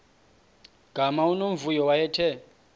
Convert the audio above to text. gama unomvuyo wayethe